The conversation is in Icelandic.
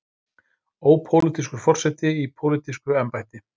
Ópólitískur forseti í pólitísku embætti.